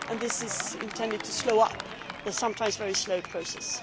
This is intended to speed up the sometimes very slow process.